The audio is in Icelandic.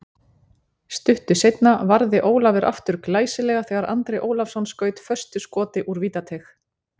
Stuttu seinna varði Ólafur aftur glæsilega þegar Andri Ólafsson skaut föstu skoti úr vítateig.